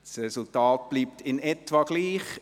Das Resultat ist in etwa gleichgeblieben.